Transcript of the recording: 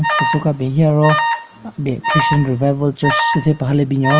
Teso ka ben he aro aben Christian Revival Church che thyü paha le binyon.